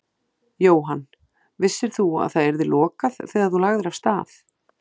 Jóhann: Vissir þú að það yrði lokað þegar þú lagðir af stað?